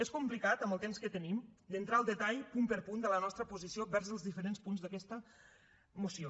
és complicat amb el temps que tenim d’entrar al detall punt per punt de la nostra posició vers els diferents punts d’aquesta moció